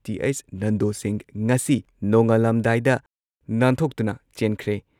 T H Nando Singh ꯉꯁꯤ ꯅꯣꯡꯉꯥꯜꯂꯝꯗꯥꯏꯗ ꯅꯥꯟꯊꯣꯛꯇꯨꯅ ꯆꯦꯟꯈ꯭ꯔꯦ ꯫